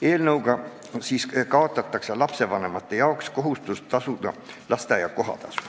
Eelnõu kohaselt kaotatakse lapsevanemate kohustus tasuda lasteaia kohatasu.